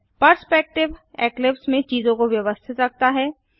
perspective Eclipse में चीजों को व्यवस्थित रखता है